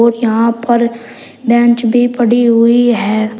यहां पर बेंच भी पड़ी हुई है।